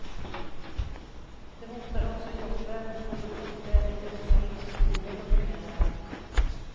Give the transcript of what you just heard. Det hotar också jobben på de orter där dessa industrier dominerar.